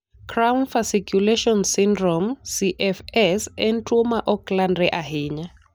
Cramp fasciculation syndrome (CFS) en tuwo ma ok landre ahinya.